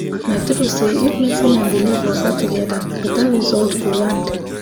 na true say if medicine and belief waka together better result go land.